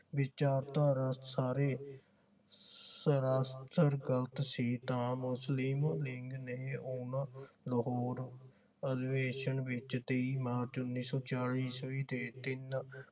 ਵਿਚਾਰਧਾਰਾ ਸਾਰੇ ਸਰਾਸ੍ਰ ਗਲਤ ਸੀ ਤਾਂ ਮੁਸਲਿਮ ਲੀਗ ਨੇ ਉਹਨਾਂ ਨੂੰ ਲਾਹੌਰ ਅਧਿਵੇਸ਼ਨ ਵਿਚ ਦੀ ਮਾਰਚ ਉੱਨੀ ਸੋ ਚਾਲੀ ਈਸਵੀ ਦੇ ਤਿੰਨ